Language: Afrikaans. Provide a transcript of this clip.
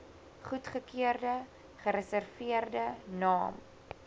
goedgekeurde gereserveerde naam